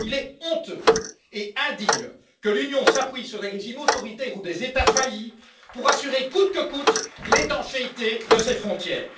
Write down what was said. Il est honteux et indigne que l'Union s'appuie sur des régimes autoritaires ou des États faillis pour assurer coûte que coûte l'étanchéité de ses frontières.